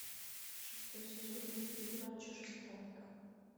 шестой сезон мультфильма чужестранка